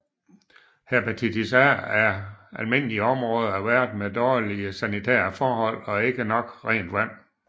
Hepatitis A er almindeligere i områder af verden med dårlige sanitære forhold og ikke nok rent vand